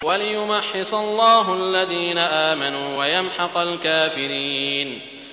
وَلِيُمَحِّصَ اللَّهُ الَّذِينَ آمَنُوا وَيَمْحَقَ الْكَافِرِينَ